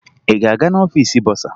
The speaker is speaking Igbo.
Ị ga-aga n'ọfiisi bọsaa?